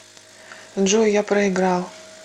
джой я проиграл